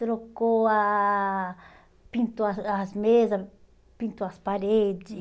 Trocou a, pintou ah as mesas, pintou as paredes.